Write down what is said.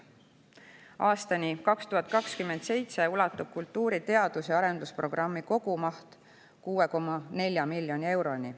Aastani 2027 ulatub kultuuri teadus‑ ja arendusprogrammi kogumaht 6,4 miljoni euroni.